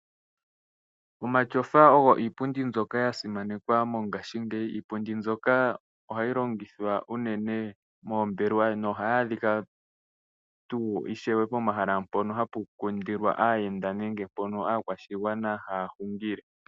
Omatyofa ogo iipundi mbyoka yasimanekwa mongashingeyi, iipundi mbyoka ohayi longithwa unene moombelwa na ohayi adhika tuu ishewe pomahala mpoka hapu kundilwa aayenda nenge mpoka aakwashigwana haya hungile.